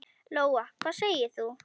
Lóa: Hvað segir þú?